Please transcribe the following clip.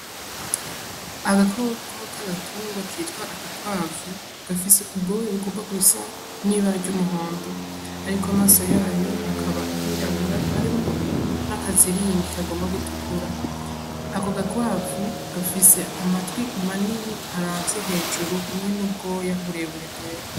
Agakokok' agatungwa kitwa agakwavu gafise ubwoya bukoba gusa n'iba ry'umuhondo, ariko amaso yayo akaba yirawura harimwo n'akaziringi kagomba gutukura ako gakwavu gafise amatwi manini aravye hejuru hamwe n'ubwoya urebure.